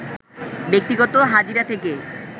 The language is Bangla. ব্যক্তিগত হাজিরা থেকে